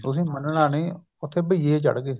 ਤੁਸੀਂ ਮੰਨਣਾ ਨੀ ਉੱਥੇ ਬਈਏ ਚੜਗੇ